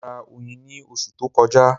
Mo ra oyin ní oṣù tó kọjá.